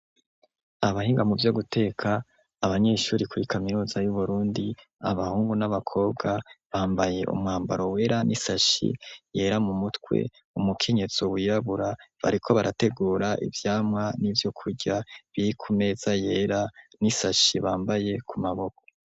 Abahinga mu vyo guteka abanyeshuri kura kamiruza y'uburundi abahungu n'abakobwa bambaye umwambaro wera n'isashi yera mu mutwe umukenyetso wirabura bariko barategura ivyamwa n'ivyo kurya birkumeza yera n'isashi bambaye ku maboko.